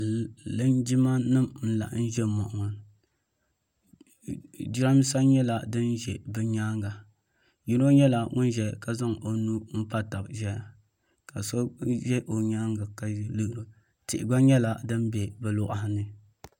lijimanim laɣ' gim ʒɛ moɣini jarabisa nyɛla din ʒɛ bɛ nyɛŋa yino nyɛla ŋɔ ʒɛ ka zaŋ o nuu patabi ʒɛya ka so ʒɛ o nyɛŋa tihi gba nyɛla di bɛ bi kuɣigani